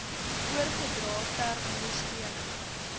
oorgedra ter ondersteuning